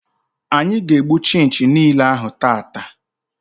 Anyị ga-egbu chinchi niile ahụ tata.